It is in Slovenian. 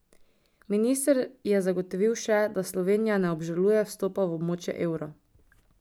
Minister je zagotovil še, da Slovenija ne obžaluje vstopa v območje evra.